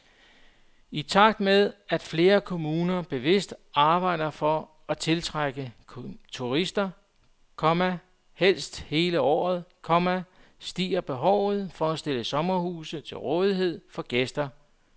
I takt med at flere kommuner bevidst arbejder for at tiltrække turister, komma helst hele året, komma stiger behovet for at stille sommerhuse til rådighed for gæsterne. punktum